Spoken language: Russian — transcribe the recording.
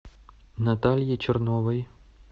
наталье черновой